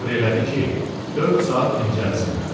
Əmr elədi ki, dörd saat dincəlsinlər.